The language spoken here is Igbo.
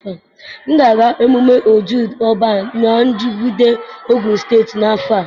M ga-aga mmemme Ojude Oba na Ijebu-Ode, Ogun State n'afọ a.